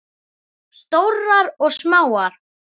Stórar og smáar.